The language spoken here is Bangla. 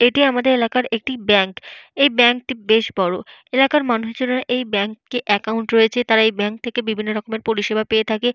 এটি আমাদের এলাকার একটি ব্যাংক । এই ব্যাংক টি বেশ বড়। এলাকার মানুষেরা এই ব্যাংকে একাউন্ট রয়েছে। তারা এই ব্যাংক থেকে বিভিন্ন রকমের পরিষেবা পেয়ে থাকে।